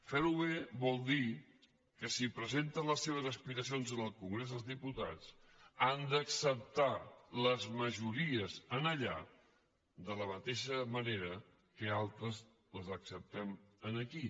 fer·ho bé vol dir que si presenten les seves aspiracions en el congrés dels diputats han d’acceptar les majori·es allà de la mateixa manera que altres les acceptem aquí